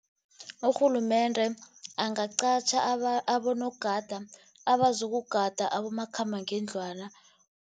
Urhulumende angaqatjha abonogada abazokugada abomakhambangendlwana.